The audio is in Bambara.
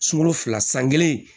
Sunkalo fila san kelen